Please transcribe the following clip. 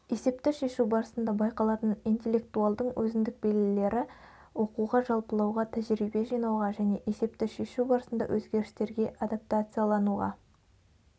есепті шешу барысында байқалатын интеллектуалдың өзіндік белгілері оқуға жалпылауға тәжірибе жинауға және есепті шешу барысында өзгерістерге адаптациялануға